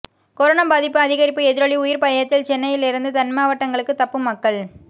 corona பாதிப்பு அதிகரிப்பு எதிரொலி உயிர் பயத்தில் சென்னையில் இருந்து தென்மாவட்டங்களுக்கு தப்பும் மக்கள்